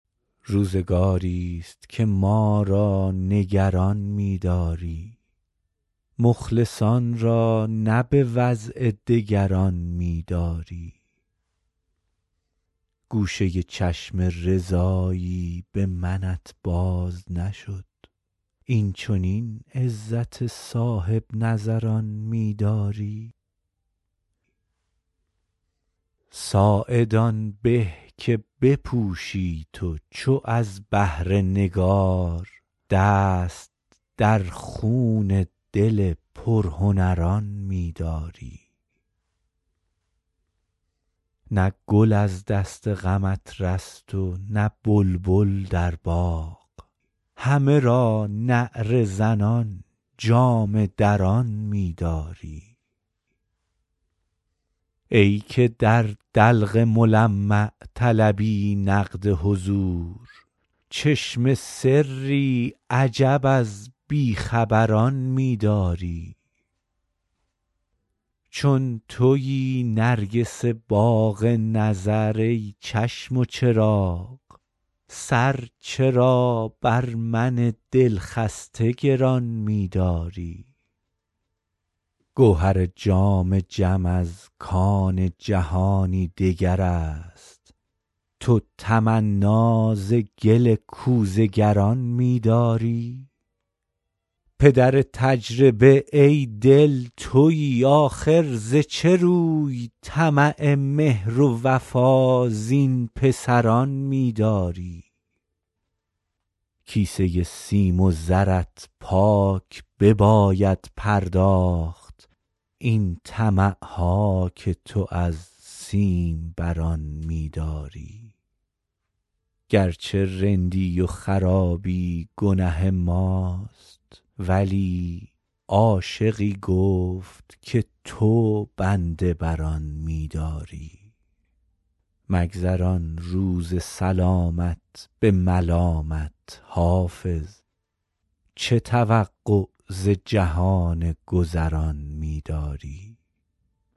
روزگاری ست که ما را نگران می داری مخلصان را نه به وضع دگران می داری گوشه چشم رضایی به منت باز نشد این چنین عزت صاحب نظران می داری ساعد آن به که بپوشی تو چو از بهر نگار دست در خون دل پرهنران می داری نه گل از دست غمت رست و نه بلبل در باغ همه را نعره زنان جامه دران می داری ای که در دلق ملمع طلبی نقد حضور چشم سری عجب از بی خبران می داری چون تویی نرگس باغ نظر ای چشم و چراغ سر چرا بر من دل خسته گران می داری گوهر جام جم از کان جهانی دگر است تو تمنا ز گل کوزه گران می داری پدر تجربه ای دل تویی آخر ز چه روی طمع مهر و وفا زین پسران می داری کیسه سیم و زرت پاک بباید پرداخت این طمع ها که تو از سیم بران می داری گر چه رندی و خرابی گنه ماست ولی عاشقی گفت که تو بنده بر آن می داری مگذران روز سلامت به ملامت حافظ چه توقع ز جهان گذران می داری